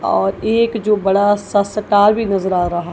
और एक जो बड़ा सा सतार भी नज़र आ रहा--